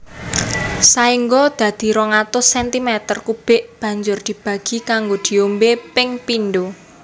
Saéngga dadi 200 centimeter kubik banjur dibagi kanggo diombé ping pindho